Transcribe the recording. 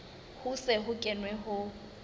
ho se ho kenwe ho